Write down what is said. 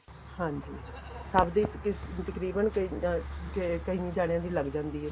ਹਾਂਜੀ ਸਭ ਦੇ ਤਕਰੀਬਨ ਕਈ ਜਾਣਿਆ ਦੀ ਲੱਗ ਜਾਂਦੀ ਏ